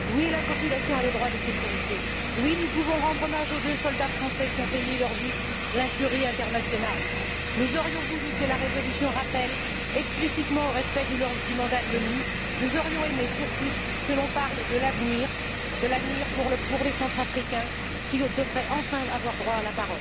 Oui, la population a le droit à la sécurité, oui nous pouvons rendre hommage aux deux soldats français qui ont payé de leur vie l'incurie internationale. Nous aurions voulu que la résolution rappelle explicitement au respect du mandat de l'ONU, nous aurions aimé, surtout, que l'on parle de l'avenir, de l'avenir pour les Centrafricains qui devraient, enfin, avoir droit à la